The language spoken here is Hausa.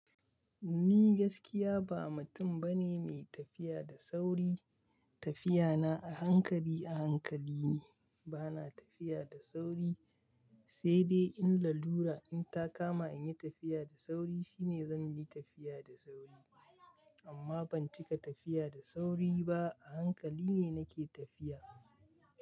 Ni gaskiya ba mutum bane mai tafiya da sauri. Tafiya na a hankali a hankali ne. Bana tafiya da sauri, sai dai in lalura in ta kama in yi tafiya da sauri shine zan yi tafiya da sauri. Amma ban cika tafiya da sauri ba, a hankali ne nake tafiya.